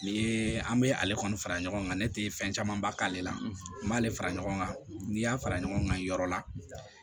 Ni ye an bɛ ale kɔni fara ɲɔgɔn kan ne tɛ fɛn camanba k'ale la n b'ale fara ɲɔgɔn kan n'i y'a fara ɲɔgɔn kan yɔrɔ la